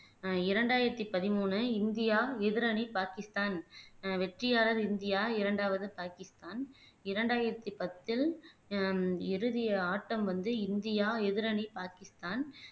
ஆஹ் இரண்டாயிரத்தி பதிமூணு இந்தியா எதிரணி பாகிஸ்தான் ஆஹ் வெற்றியாளர் இந்தியா இரண்டாவது பாகிஸ்தான் இரண்டாயிரத்தி பத்தில் ஆஹ் இறுதி ஆட்டம் வந்து இந்தியா எதிரணி பாகிஸ்தான்